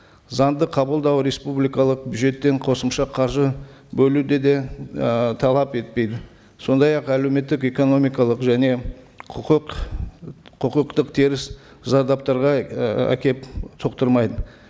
заңды қабылдау республикалық бюджеттен қосымша қаржы бөлуді де і талап етпейді сондай ақ әлеуметтік экономикалық және құқық құқықтық теріс зардаптарға і әкеліп соқтырмайды